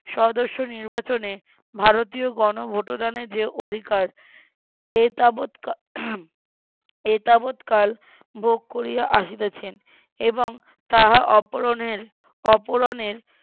সদস্য নির্বাচনে ভারতীয় গন ভোটদানের যে অধিকার এ তাবৎ এ তাবৎ কাল ভোগ করিয়া আসিতেছেন এবং তাহা অপরনের অপূরণের